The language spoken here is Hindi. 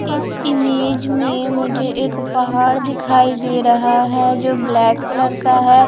इस इमेज में मुझे एक पहाड़ दिखाई दे रहा है जो ब्लैक कलर का है।